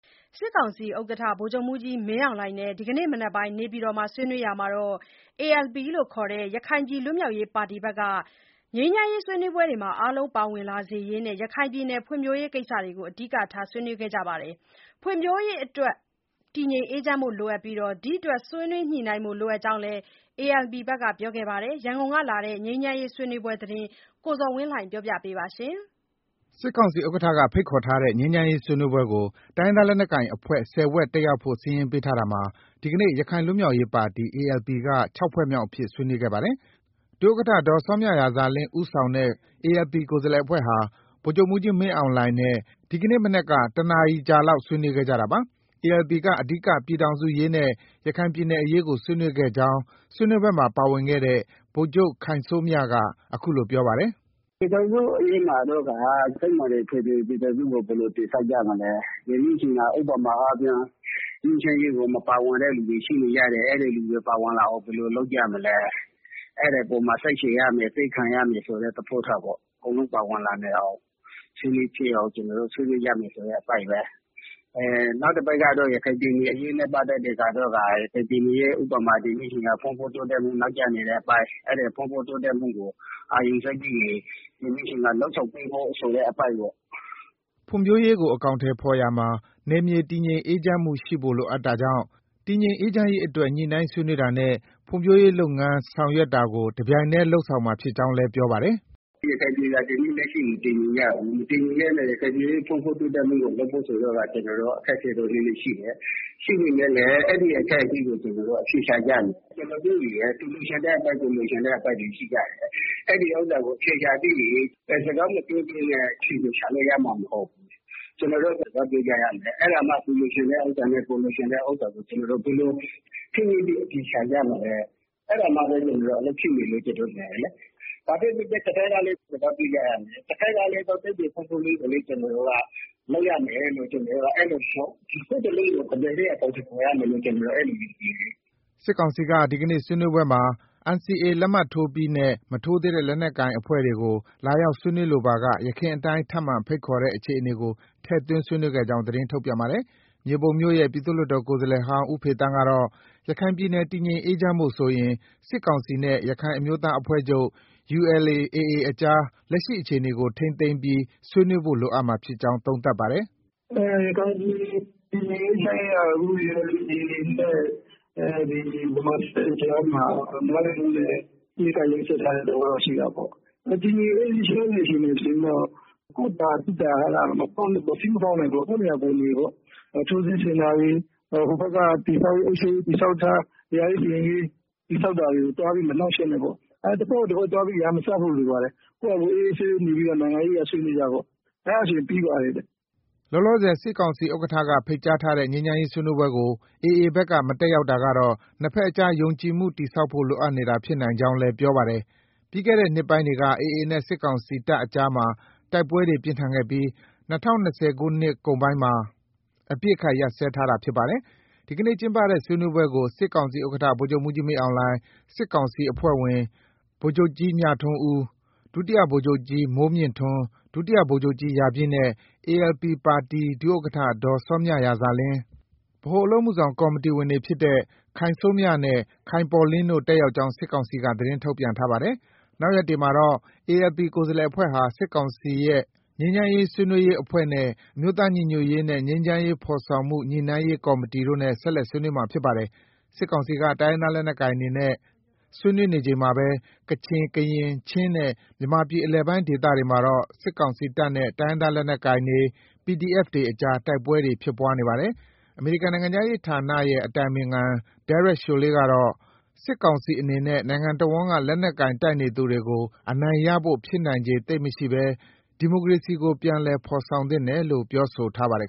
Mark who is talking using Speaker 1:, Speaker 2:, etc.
Speaker 1: စစ်ကောင်စီဥက္ကဋ္ဌ ဗိုလ်ချုပ်မှူးကြီးမင်းအောင်လှိုင်နဲ့ ဒီကနေ့မနက် နေပြည်တော် မှာ ဆွေးနွေးရာမှာ ALP ခေါ် ရခိုင်ပြည်လွတ်မြောက်ရေးပါတီက ငြိမ်းချမ်းရေးဆွေးနွေးပွဲမှာ အားလုံးပါဝင်လာစေရေးနဲ့ ရခိုင်ပြည်နယ်ဖွံ့ဖြိုးရေးကိစ္စတွေကို အဓိက ဆွေးနွေးခဲ့ပါတယ်။ ဖွံ့ဖြိုးရေးအတွက် တည်ငြိမ်အေးချမ်းဖို့လိုအပ်ပြီး ဒီအတွက် ဆွေးနွေးညှိနှိုင်းဖို့ လိုအပ်ကြောင်းလည်း ALP ဘက်က ပြောပါတယ်။ ရန်ကုန်ကလာတဲ့ ငြိမ်းချမ်းရေးဆွေးနွေးပွဲသတင်းကို ကိုဇော်ဝင်းလှိုင်က တင်ပြထားပါတယ်။
Speaker 2: စစ်ကောင်စီဥက္ကဋ္ဌက ဖိတ်ခေါ်ထားတဲ့ ငြိမ်းချမ်းရေးဆွေးနွေးပွဲကို တိုင်းရင်းသားလက်နက်ကိုင်အဖွဲ့ ၁၀ ဖွဲ့တက်ရောက်ဖို့ စာရင်းပေးထားရာမှာ ဒီကနေ့ ရခိုင်ပြည်လွတ်မြောက်ရေးပါတီ ALP က ၆ ဖွဲ့မြောက်အဖြစ် ဆွေးနွေးခဲ့ပါတယ်။ ဒုဥက္ကဋ္ဌ ဒေါ်စောမြရာဇာလင်း ဦးဆောင်တဲ့ ALP ကိုယ်စားလှယ်အဖွဲ့ဟာ ဗိုလ်ချုပ် မှူးကြီး မင်းအောင်လှိုင်နဲ့ ဒီကနေ့မနက်မှာတွေ့ဆုံခဲ့ပြီး ၁ နာရီလောက်ကြာအောင် ဆွေးနွေးခဲ့တာပါ။ ALP က အဓိက ပြည်ထောင်စုအရေးနဲ့ ရခိုင်ပြည်နယ်အရေးကို ဆွေးနွေးခဲ့ကြောင်း ဆွေးနွေးပွဲမှာပါဝင်ခဲ့တဲ့ ဗိုလ်ချုပ် ခိုင်စိုးမြက အခုလို ပြောပါတယ်။ “ပြည်ထောင်စ
Speaker 1: ုအရေးမှာတော့ကာ စစ်မှန်တဲ့ဖက်ဒရယ်ပြည်ထောင်စုကို ဘယ်လိုတည်ဆောက်ကြမလဲ။ ဒီနေ့အချိန်မှာ ဥပမာအားဖြင့် ငြိမ်းချမ်းရေးကို မပါဝင်တဲ့သူတွေရှိလို့ရတယ်။ အဲဒီလူတွေ ပါဝင်လာအောင် ဘယ်လို လုပ်ကြမလဲ။ အဲဒီပေါ်မှာ စိတ်ရှည်ရမယ်။ သည်းခံရမယ်ဆိုတဲ့သဘောထားပေါ့။ အကုန်လုံးပါဝင်လာနိုင်အောင်။ ဆွေးနွေးဖြစ်အောင် ကျနော်တို့ ဆွေးနွေးရမယ်ဆိုတဲ့အပိုင်းပဲ။ နောက် တပိုင်းကတော့ ရခိုင်ပြည်နယ်အရေးနဲ့ပတ်သက်တဲ့ဟာတော့ကာ ရခိုင်ပြည်နယ်ရဲ့ ဥပမာ ဒီနေ့ချိန်ခါမှာ ဖွံ့ဖြိုးတိုးတက်မှု နောက်ကျနေတဲ့အပိုင်း။ အဲဒီဖွံ့ဖြိုးတိုးတက်မှုကို အာရုံစိုက်ပြီးရင် လုပ်ဆောင်ပေးဖို့ ဆိုတဲ့အပိုင်းပေါ့။
Speaker 2: ” ဖွံ့ဖြိုးရေးကို အကောင်အထည်ဖော်ရာမှာ နယ်မြေတည်ငြိမ်အေးချမ်းမှုရှိဖို့ လိုအပ် တာကြောင့် တည်ငြိမ်အေးချမ်းရေးအတွက် ညှိနှိုင်းဆွေးနွေးတာနဲ့ ဖွံ့ဖြိုးရေးလုပ်ငန်းဆောင်ရွက်တာကို တပြိုင်တည်းလုပ်ဆောင်မှာ ဖြစ်ကြောင်းလည်း ဆက်ပြောပါတယ်
Speaker 1: ။ “ရခိုင်ပြည်ဟာ ဒီနေ့ လက်ရှိ မတည်ငြိမ်ကြဘူး။ မတည်ငြိမ်တဲ့အတွက် ရခိုင်ပြည် ရဲ့ဖွံ့ဖြိုးတိုးတက်မှုကို လုပ်ဖို့ဆိုတော့ကာ အခက်အခဲတော့နည်းနည်းရှိတယ်။ ရှိပေမယ့်လည်း အဲဒီအခက်အခဲကို ကျနော်တို့ အဖြေရှာကြမယ်။ ကျနော်တို့တွေမယ် သူလိုချင်တဲ့အပိုင်း၊ ကိုယ်လိုချင်တဲ့အပိုင်းတွေ ရှိကြတယ်။ အဲဒီဥစ္စာ အဖြေရှာရင် စကားမပြောဘဲနဲ့ အဖြေကိုသိမှာမဟုတ်ဘူး။ ကျနော်တို့ စကားပြောကြရမယ်။ အဲဒါမှ သူလိုချင်တဲ့ဥစ္စာနဲ့ ကိုယ်လိုချင်တဲ့ဥစ္စာကို ဘယ်လို ဆွေးနွေးပြီးအဖြေရှာကြမလဲ။ အဲဒါမှပဲ အလုပ်ဖြစ်မယ်လို့ ကျနော်တို့ မြင်တယ်လေ။ ဘာပဲဖြစ်ဖြစ် တဘက်ကလည်း စကားပြောကြရမယ်။ တဘက်ကလည်း တိုင်းပြည်ဖွံ့ဖြိုးရေးကိုတော့ ကျနော်တို့က လုပ်ရမယ်လို့ နှစ်ခုစလုံးကို တပြိုင်နက် အကောင်အထည်ဖော်ရမယ်လို့ အဲလိုမျိုးမြင်တယ်လေ
Speaker 2: ။” စစ်ကောင်စီဘက်က ဒီကနေ့ ဆွေးနွေးပွဲမှာ NCA လက်မှတ်ထိုးပြီး နဲ့ မထိုးသေးတဲ့ တိုင်းရင်းသားလက်နက်ကိုင်အဖွဲ့တွေကို လာရောက်ဆွေးနွေးလိုပါက ယခင်အတိုင်း ထပ်မံဖိတ်ခေါ်တဲ့အခြေအနေကို ထည့်သွင်း ဆွေးနွေးခဲ့ကြောင်း သတင်းထုတ်ပြန်ပါတယ်။ မြေပုံမြို့နယ်ရဲ့ ပြည်သူ့လွှတ်တော်ကိုယ်စားလှယ်ဟောင်း ဦးဖေသန်းကတော့ ရခိုင်ပြည်နယ် တည်ငြိမ်အေးချမ်းဖို့ဆိုရင် စစ်ကောင်စီနဲ့ ရခိုင်အမျိုးသားအဖွဲ့ချုပ် ULA/AA အကြား လက်ရှိအခြေအနေကို ထိန်းသိမ်းပြီး ဆွေးနွေးဖို့ လိုအပ်မှာဖြစ်ကြောင်း သုံးသပ်ပါတယ်
Speaker 1: ။ “ရခိုင်ပြည်နယ် တည်ငြိမ်အေးချမ်းရေးကတော့ အခု ULA/AA နဲ့ ဗမာစစ်တပ်နဲ့ ကြားမှာ နားလည်မှုနဲ့ အပစ်အခတ်ရပ်စဲထားတဲ့သဘောတော့ ရှိတာပေါ့။ တည်ငြိမ်အေးချမ်းစေချင်တယ်ဆိုရင်တော့ ကိုယ့်တာ၊ သူ့တာ မဖောက်နဲ့ပေါ့။ စည်းမဖောက်နဲ့ပေ့ါ။ ကိုယ့်နေရာကိုယ်နေပေါ့။ ထိုးစစ်ဆင်တာတွေ၊ ဟိုဘက်က အုပ်ချုပ်ရေးတည်ဆောက်ထား။ တရားစီရင်ရေး တည်ဆောက်တာတွေကို သွားပြီး မနှောင့်ယှက်နဲ့ပေါ့။ တဖွဲ့ကိုတဖွဲ့သွားပြီး ရန်မစဖို့လိုပါတယ်။ ကိုယ်ဟာကိုယ် အေးအေးဆေးဆေးနေပြီး နိုင်ငံရေးအရ ဆွေးနွေးကြပေါ့။ အဲဒါဆိုရင် ပြီးပါတယ်ဗျ။”
Speaker 2: လောလောဆယ် စစ်ကောင်စီဥက္ကဋ္ဌကဖိတ်ကြားတဲ့ ငြိမ်းချမ်းရေးဆွေးနွေးပွဲကို AA ဘက်က မတက်ရောက်တာကတော့ နှစ်ဘက်အကြား ယုံကြည်မှုတည်ဆောက်ဖို့ လိုအပ်နေတာ ဖြစ်နိုင်ကြောင်းလည်း ပြောပါတယ်။ ပြီးခဲ့တဲ့နှစ်ပိုင်းတွေက AA နဲ့ စစ်ကောင်စီတပ်အကြားမှာ တိုက်ပွဲတွေပြင်းထန်ခဲ့ပြီး ၂၀၂၀ ခုနှစ် နှစ်ကုန်ပိုင်းမှာ အပစ်အခတ် ရပ်စဲထားတာဖြစ်ပါတယ်။ ဒီနေ့ ကျင်းပတဲ့ ဆွေးနွေးပွဲကို စစ်ကောင်စီဥက္ကဋ္ဌ ဗိုလ်ချုပ်မှူးကြီးမင်းအောင်လှိုင်၊ စစ်ကောင်စီအဖွဲ့ဝင် ဗိုလ်ချုပ်ကြီး မြထွန်းဦး၊ ဒုတိယဗိုလ်ချုပ်ကြီး မိုးမြင့်ထွန်း၊ ဒုတိ ဗိုလ်ချုပ်ကြီးရာပြည်နဲ့ ALP ပါတီက ဒုဥက္ကဋ္ဌဒေါ်စောမြရာဇာလင်း၊ ဗဟိုအလုပ်အမှု ဆောင်ကော်မတီဝင်တွေဖြစ်တဲ့ ခိုင်စိုးမြနဲ့ ခိုင်ပေါ်လင်းတို့ တက်ရောက်ကြောင်း စစ်ကောင်စီက သတင်းထုတ်ပြန်ထားပါတယ်။ နောက်ရက်တွေမှာတော့ ALP ကိုယ်စားလှယ်အဖွဲ့ဟာ စစ်ကောင်စီရဲ့ ငြိမ်းချမ်းရေးဆွေးနွေးရေးအဖွဲ့နဲ့ အမျိုးသားစည်းလုံးညီညွတ်ရေးနဲ့ ငြိမ်းချမ်းရေး ဖော်ဆောင်မှုညှိနှိုင်းရေးကော်မတီတို့နဲ့ ဆက်လက် ဆွေးနွေးမှာ ဖြစ်ပါတယ်။ စစ်ကောင်စီက တိုင်းရင်းသားလက်နက်ကိုင်တွေနဲ့ ဆွေးနွေးနေချိန်မှာပဲ ကချင်၊ ကရင်၊ ချင်းနဲ့ မြန်မာပြည်အလယ်ပိုင်းဒေသတွေမှာတော့ စစ်ကောင်စီတပ်နဲ့ တိုင်ရင်းသားလက်နက်ကိုင်တွေ၊ PDF တွေအကြားမှာ တိုက်ပွဲတွေ ဖြစ်ပွားနေပါတယ်။ အမေရိကန်နိုင်ငံခြားရေးဝန်ကြီးဌာနရဲ့ အတိုင်ပင်ခံ Derek Chollet ကတော့ စစ်ကောင်စီအနေနဲ့ နိုင်ငံတဝန်းက လက်နက်ကိုင်တိုက်နေသူတွေကို အနိုင်ရဖို့ ဖြစ်နိုင် ခြေ သိပ်မရှိဘဲ ဒီမိုကရေစီကို ပြန်လည်ဖော်ဆောင်သင့်တယ်လို့ ပြောဆိုထားပါတယ်